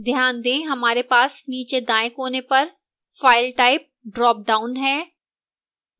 ध्यान दें हमारे पास नीचे दाएं कोने पर file type dropdown है